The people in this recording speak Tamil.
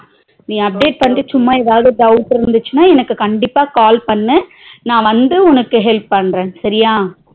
நீ update பண்ணிட்டு சும்மாஏதாவது doubt இருந்துச்சுனா எனக்கு கண்டிப்ப call பண்ணு நா வந்து உனக்கு help பண்ற சரியா